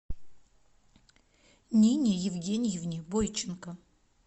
нине евгеньевне бойченко